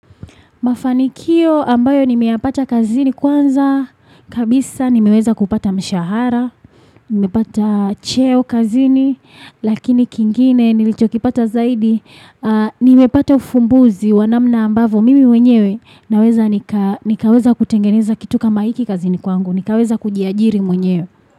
Mafanikio ambayo nimeyapata kazini kwanza, kabisa nimeweza kupata mshahara, nimepata cheo kazini, lakini kingine nilichokipata zaidi, nimepata ufumbuzi wa namna ambavyo mimi mwenyewe naweza nikaweza kutengeneza kitu kama hiki kazini kwangu, nikaweza kujiajiri mwenyewe.